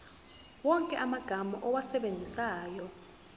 wonke amagama owasebenzisayo